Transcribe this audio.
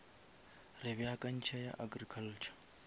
re beakantše ya agriculture